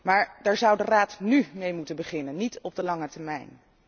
Maar daar zou de Raad nu mee moeten beginnen, niet op de lange termijn.